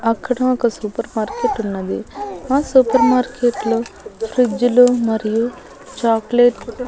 అక్కడ ఒక super market ఉన్నది ఆ సూపర్ మార్కెట్లో ఫ్రిడ్జ్ లు మరియు చాక్లెట్ --